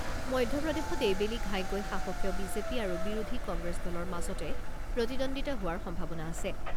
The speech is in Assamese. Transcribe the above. মধ্যপ্ৰদেশত এইবেলি ঘাইকৈ শাসকীয় বিজেপি আৰু বিৰোধী কংগ্ৰেছ দলৰ মাজতে প্ৰতিদ্বন্দ্বিতা হোৱাৰ সম্ভাৱনা আছে।